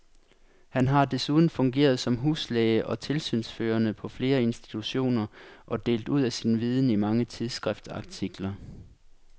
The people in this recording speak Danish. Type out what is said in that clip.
Han har desuden fungeret som huslæge og tilsynsførende på flere institutioner og delt ud af sin viden i mange tidsskriftsartikler.